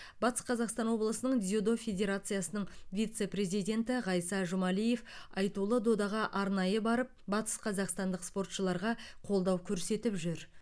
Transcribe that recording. батыс қаақстан облысының дзюдо федерациясының вице президенті ғайса жұмалиев айтулы додаға арнайы барып батысқазақстандық спортшыларға қолдау көрсетіп жүр